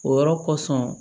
O yɔrɔ kosɔn